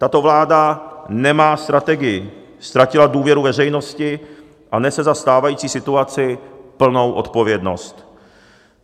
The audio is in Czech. Tato vláda nemá strategii, ztratila důvěru veřejnosti a nese za stávající situaci plnou odpovědnost.